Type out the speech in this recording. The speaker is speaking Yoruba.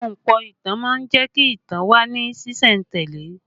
Ahunpọ̀ ìtàn má ń jẹ́ kí ìtàn ó wà ní sìsẹ̀ntele